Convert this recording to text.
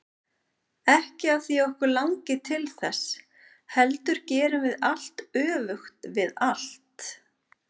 Ekki af því að okkur langi til þess, heldur gerum við allt öfugt við allt.